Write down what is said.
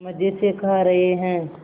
मज़े से खा रहे हैं